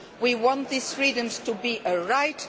We want these freedoms to be a right